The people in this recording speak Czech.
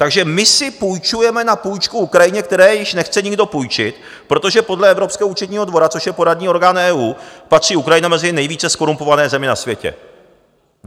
Takže my si půjčujeme na půjčku Ukrajině, které již nechce nikdo půjčit, protože podle Evropského účetního dvora, což je poradní orgán EU, patří Ukrajina mezi nejvíce zkorumpované země na světě.